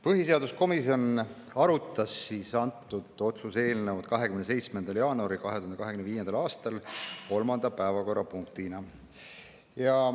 Põhiseaduskomisjon arutas antud otsuse eelnõu 27. jaanuaril 2025. aastal kolmanda päevakorrapunktina.